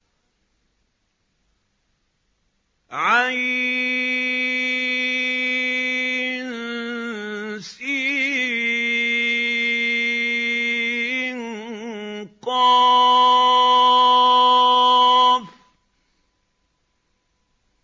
عسق